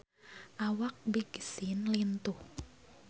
Awak Big Sean lintuh